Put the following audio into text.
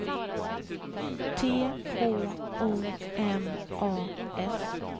T H O M A S